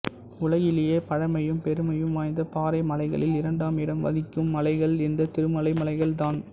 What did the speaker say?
உலகிலேயே பழைமையும் பெருமையும் வாய்ந்த பாறை மலைகளில் இரண்டாம் இடம் வகிக்கும் மலைகள் இந்த திருமலை மலைகள் தான்